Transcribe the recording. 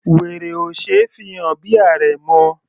Wèrè ò ṣe é fi hàn bí àrẹ̀mọ.